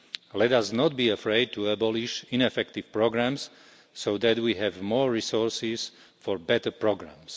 Let us not be afraid to abolish ineffective programmes so that we have more resources for better programmes.